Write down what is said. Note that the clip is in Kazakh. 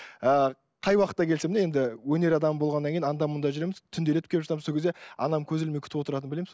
ыыы қай уақытта келсем де енді өнер адамы болғаннан кейін анда мұнда жүреміз түнделетіп келіп жатамыз сол кезде анам көз ілмей күтіп отыратынын білеміз